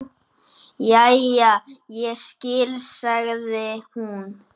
Jæja, ég skil, sagði hún.